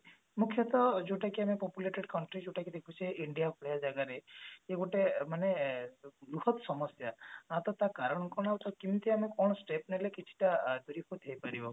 ମୁଖ୍ଯତଃ ଯୋଉଟା କି ଆମେ populated country ଯୋଉଟା କି ଦେଖୁଛେ India ଭଳି ଜାଗାରେ ଇଏ ଗୋଟେ ମାନେ ବୃହତ ସମସ୍ଯା ମତେ ତା କାରଣ କଣ ଆଉ ତାକୁ କେମତି ଆମେ କଣ step ନେଲେ କିଛି ଟା ହେଇ ପାରିବ